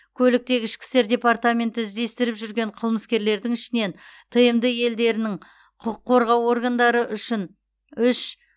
көліктегі ішкі істер департменті іздестіріп жүрген қылмыскерлердің ішінен тмд елдерінің құқық қорғау органдары үшін үш